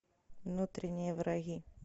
внутренние враги